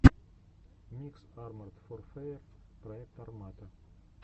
микс арморд ворфэер проект армата